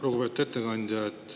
Lugupeetud ettekandja!